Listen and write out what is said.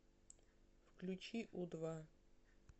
включи у два